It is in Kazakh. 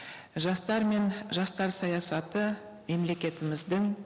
жастар мен жастар саясаты мемлекетіміздің